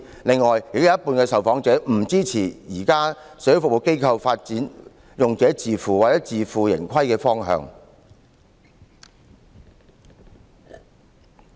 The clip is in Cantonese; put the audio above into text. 最後，亦有一半受訪者不支持現行社會服務機構發展用者自付或自負盈虧的方向。